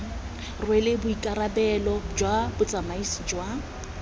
rwele boikarabelo jwa botsamaisi jwa